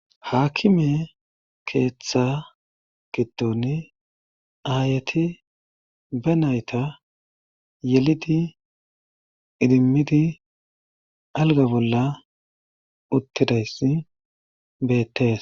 Haakkime keeththa giddon aayeti be nayta yelidi idimmidi alga bolla uttidayss beettes.